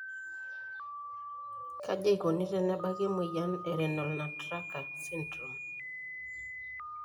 Kaji eikoni tenebaki emoyian e renal nutcracker syndrome?